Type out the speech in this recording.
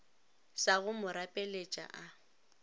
sa go mo rapeletša a